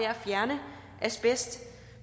at fjerne asbest